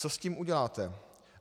Co s tím uděláte?